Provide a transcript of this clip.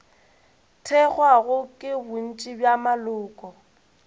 thekgwago ke bontši bja maloko